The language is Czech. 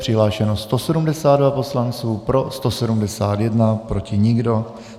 Přihlášeno 172 poslanců, pro 171, proti nikdo.